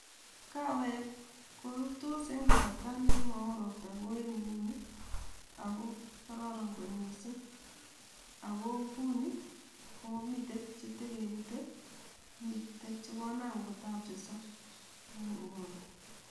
Kaweek korurtos en kasarta nemowoo ropta kou en inguni ago kororon kot misiing' ago nguni ko miten chetokipute miten chekonam kotapteso en nguni